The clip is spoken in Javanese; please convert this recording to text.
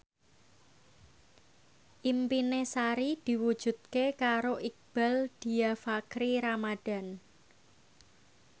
impine Sari diwujudke karo Iqbaal Dhiafakhri Ramadhan